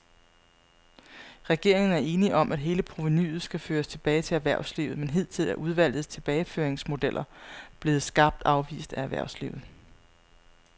Regeringen er enig om, at hele provenuet skal føres tilbage til erhvervslivet, men hidtil er udvalgets tilbageføringsmodeller blevet skarpt afvist af erhvervslivet.